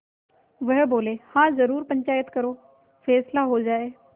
वह बोलेहाँ जरूर पंचायत करो फैसला हो जाय